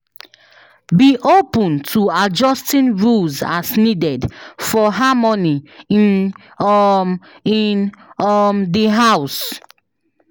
Be open to adjusting rules as needed for harmony in um in um the house.